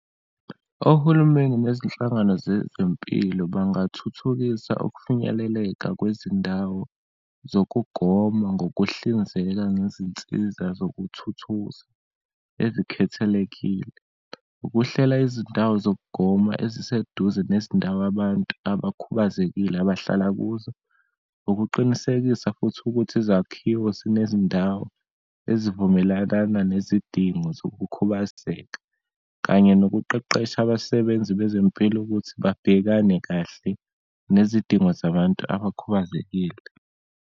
Ohulumeni nezinhlangano zezempilo bangathuthukisa ukufinyeleleka kwezindawo zokugoma, ngokuhlinzeka ngezinsiza zokuthuthusa esikhethelekile, ukuhlela izindawo zokugoma eziseduze nezindawo abantu abakhubazekile abahlala kuzo, ukuqinisekisa futhi ukuthi izakhiwo zinezindawo ezivumelakana nezidingo zokukhubazeka, kanye nokuqeqesha abasebenzi bezempilo ukuthi babhekane kahle nezidingo zabantu abakhubazekile.